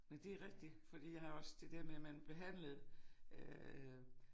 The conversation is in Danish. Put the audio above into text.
Men det rigtig fordi jeg har også det der med at man behandlede øh